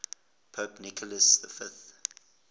pope nicholas v